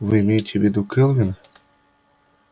вы имеете в виду кэлвин